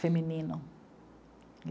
Feminino.